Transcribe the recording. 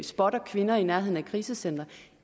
spotter kvinder i nærheden af krisecentre